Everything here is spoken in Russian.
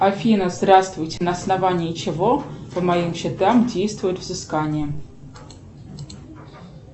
афина здравствуйте на основании чего по моим счетам действует взыскание